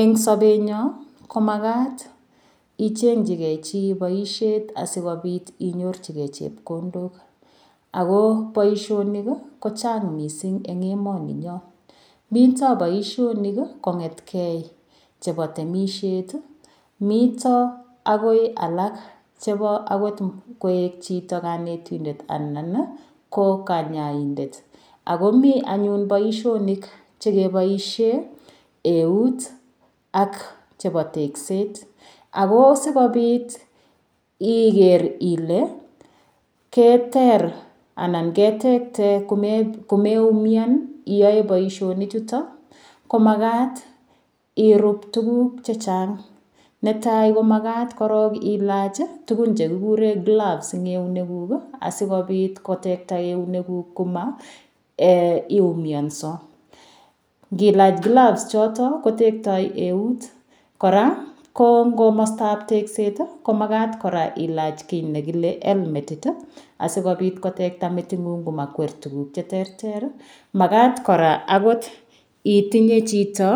Eng' sobenyon komakat icheng'chigei chi boishet asikobit inyorchigei chepkondok ako boishonik kochang' mising' eng' emoni nyoo mito boishonik kong'ei chebo temishet mito akoi alak chebo akot koek chito kanetindet anan ko kanyaidet akomi anyun boishonik chekeboishe eut ak chebo tekset ako sikobit iker ile keter anan ketekte komeumian iyoe boishonik chuto ko makat irup tukuk chechang' netai komakat korok ilach tukun chekikure gloves eng' eunekuk asikobit kotekta eunekuk komaiumionso ngilach gloves choto kotektoi eut kora komostaab tekset komakat kora ilach kii nekile elmetit asikobit kotekta meting'ung komakwer tukuk cheterter makat kora akot itinye chito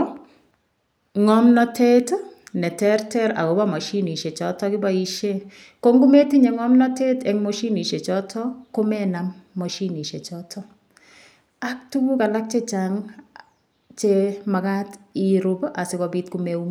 ng'omnotet neterter akobo mashinishe choto kiboishe ko ngometinye ng'omnotet eng' moshinishe choto komenam moshinishe choto ak tukuk alak chechang' chemakat irub asikobit komeumian